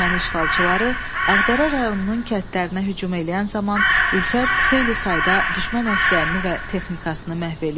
Erməni işğalçıları Ağdərə rayonunun kəndlərinə hücum eləyən zaman Ülfət xeyli sayda düşmən əsgərini və texnikasını məhv eləyir.